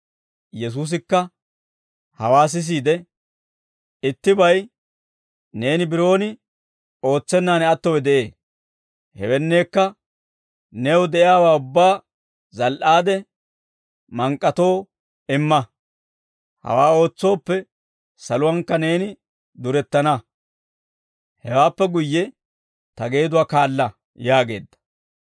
Yesuusikka hawaa sisiide, «Ittibay neeni biroon ootsennaan attowe de'ee; hewenneekka, new de'iyaawaa ubbaa zal"aade mank'k'atoo imma; hawaa ootsooppe saluwankka neeni durettana; hewaappe guyye ta geeduwaa kaala» yaageedda.